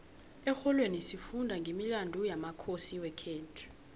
exholweni sifunda nqemilandu yamakhosi wekhethu